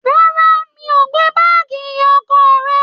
Rárá, mi ò gbé báàgì ìyá ọkọ rẹ.